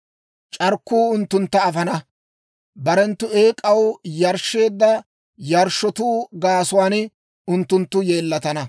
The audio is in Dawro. C'arkkuu unttuntta afana; barenttu eek'aw yarshsheedda yarshshotuu gaasuwaan unttunttu yeellatana.